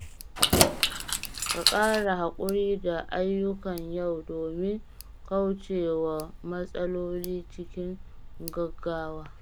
Ka ƙara haƙuri da ayyukan yau domin kauce wa matsaloli cikin gaugawa.